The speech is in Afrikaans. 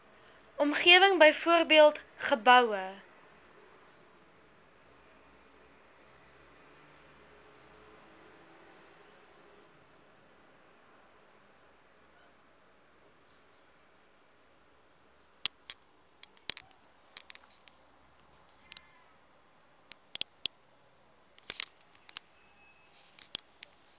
omgewing byvoorbeeld geboue